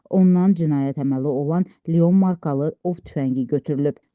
Ondan cinayət əməli olan Leon markalı ov tüfəngi götürülüb.